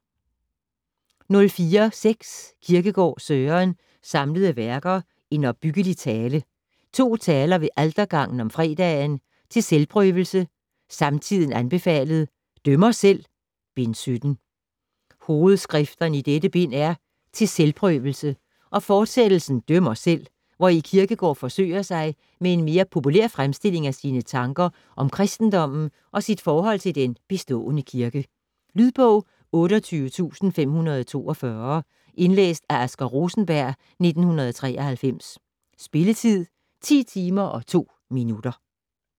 04.6 Kierkegaard, Søren: Samlede Værker: En opbyggelig Tale ; To Taler ved Altergangen om Fredagen ; Til Selvprøvelse, Samtiden anbefalet ; Dømmer selv!: Bind 17 Hovedskrifterne i dette bind er "Til selvprøvelse" og fortsættelsen "Dømmer selv", hvori Kierkegård forsøger sig med en mere populær fremstilling af sine tanker om kristendommen og sit forhold til den bestående kirke. Lydbog 28542 Indlæst af Asger Rosenberg, 1993. Spilletid: 10 timer, 2 minutter.